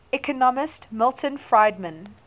economist milton friedman